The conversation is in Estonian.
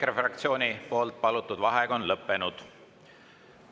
EKRE fraktsiooni palutud vaheaeg on lõppenud.